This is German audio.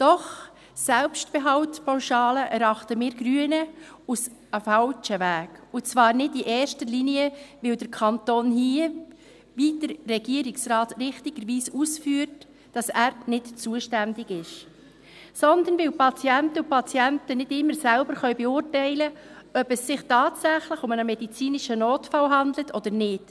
Doch eine Selbstbehaltpauschale erachten wir Grünen als den falschen Weg, und zwar nicht erster Linie, weil der Kanton hier – wie der Regierungsrat richtigerweise ausführt – nicht zuständig ist, sondern weil Patientinnen und Patienten nicht immer selbst beurteilen können, ob es sich tatsächlich um einen medizinischen Notfall handelt oder nicht.